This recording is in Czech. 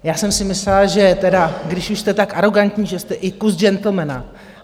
Já jsem si myslela, že tedy, když už jste tak arogantní, že jste i kus gentlemana.